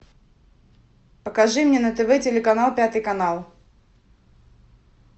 покажи мне на тв телеканал пятый канал